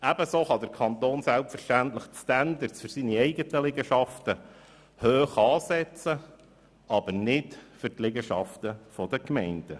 Ebenso kann der Kanton selbstverständlich die Standards für seine eigenen Liegenschaften hoch ansetzen, nicht aber für die Liegenschaften der Gemeinden.